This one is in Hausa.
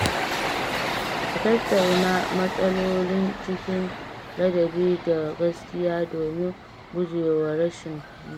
Ka tattauna matsaloli cikin ladabi da gaskiya domin guje wa rashin fahimta.